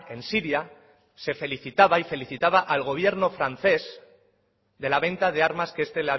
en siria se felicitaba y felicitaba al gobierno francés de la venta de armas que este